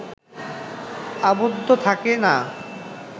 আবদ্ধ থাকে না